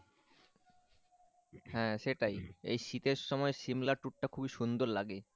হ্যাঁ সেটাই এই শীতের সময় সিমলা ট্যুরটা খুবই সুন্দর লাগে